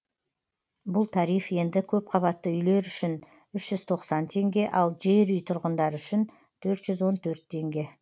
бұл тариф енді көпқабатты үйлер үшін үш жүз тоқсан теңге ал жерүй тұрғындары үшін төрт жүз он төрт теңге